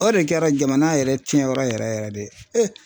O de kɛra jamana yɛrɛ cɛn yɔrɔ yɛrɛ yɛrɛ yɛrɛ de ye